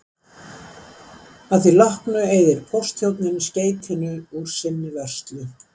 Að því loknu eyðir póstþjónninn skeytinu úr sinni vörslu.